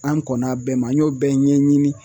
An kɔnna a bɛɛ ma an y'o bɛɛ ɲɛɲini